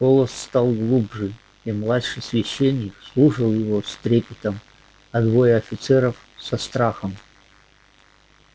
голос стал глубже и младший священник слушал его с трепетом а двое офицеров со страхом